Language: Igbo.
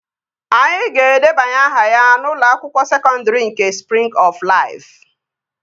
Anyị ga-edebanye aha ya n'ụlọ akwụkwọ sekọndri nke Sprịng ọf Laifu